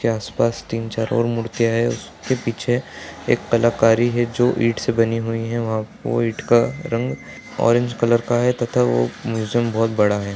के आस-पास तीन चार और मूर्तियाँ हैं उसके पीछे एक कलाकारी है जो ईंट से बनी हुई है वहाँ पर कोई ईंट का रंग ऑरेंज कलर का हैं तथा वो म्यूजियम बहुत बड़ा है।